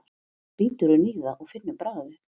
Svo bítur hún í það og finnur bragðið.